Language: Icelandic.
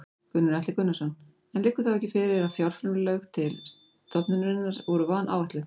Gunnar Atli Gunnarsson: En liggur þá ekki fyrir að fjárframlög til stofnunarinnar voru vanáætluð?